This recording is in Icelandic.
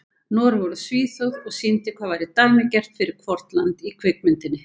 Noregur og Svíþjóð, og sýndi hvað væri dæmigert fyrir hvort land í kvikmyndinni.